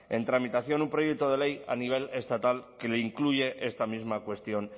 en tramitación un proyecto de ley a nivel estatal que lo incluye esta misma cuestión